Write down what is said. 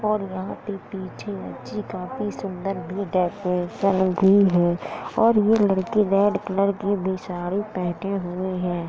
और यहाँ पे पीछे अच्छी काफी सुंदर भी डेकोरेशन भी है और ये लड़की रेड कलर की भी साड़ी पहने हुए है।